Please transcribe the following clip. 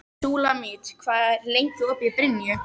Súlamít, hvað er lengi opið í Brynju?